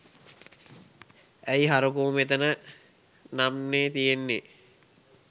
ඇයි හරකෝ මෙතන නම්නේ තියෙන්නේ